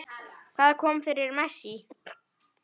Hvað kom fyrir Messi?